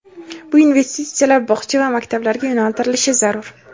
bu investitsiyalar bog‘cha va maktablarga yo‘naltirilishi zarur.